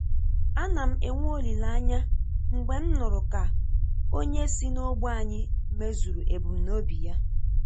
Ana m enwe olileanya mgbe m nụrụ ka onye si n'ógbè ànyị mezuru ebumnobi ya